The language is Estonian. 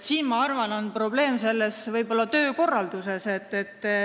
Siin, ma arvan, võib probleem olla töökorralduses.